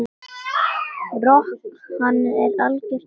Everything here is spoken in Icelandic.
Rok, hann er algjört æði.